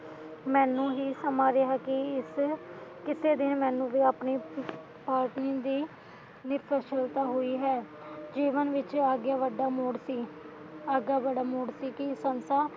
ਮੈਨੂੰ ਹੀ ਸਮਾਜਵਾਤੀ ਇਸ ਕਿਥੇ ਦੀ ਮੈਨੂੰ ਆਪਣੇ ਪਾਰਟੀ ਦੀ ਨਿੱਪ ਸਹੂਲਤਾਂ ਹੋਈ ਹੈ ਜੀਵਨ ਵਿਚ ਅੱਗੇ ਵਧਾ ਮੋੜਤੀ ਅੱਗਾਂ ਵਡਾ ਮੋੜਤੀ ਕਿ